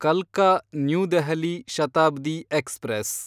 ಕಲ್ಕಾ– new Delhi Shatabdi express